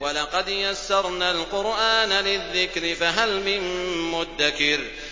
وَلَقَدْ يَسَّرْنَا الْقُرْآنَ لِلذِّكْرِ فَهَلْ مِن مُّدَّكِرٍ